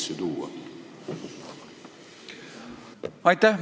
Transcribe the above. Aitäh!